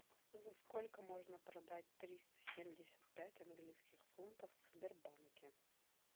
за сколько можно продать триста семьдесят пять английских фунтов в сбербанке